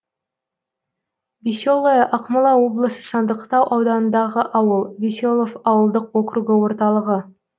веселое ақмола облысы сандықтау ауданындағы ауыл веселов ауылдық округі орталығы